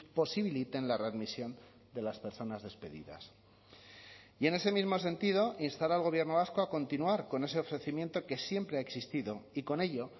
posibiliten la readmisión de las personas despedidas y en ese mismo sentido instar al gobierno vasco a continuar con ese ofrecimiento que siempre ha existido y con ello